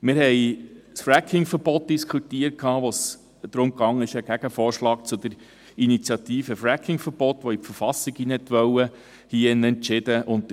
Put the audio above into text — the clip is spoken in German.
Wir haben das Fracking-Verbot diskutiert, als es hier darum ging, einen Gegenvorschlag zur «Stopp-Fracking-Initiative» zu beschliessen, die das Fracking-Verbot in die Verfassung aufnehmen wollte.